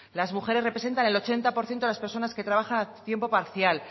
las mujeres representan el ochenta por ciento de las personas que trabajan a tiempo parcial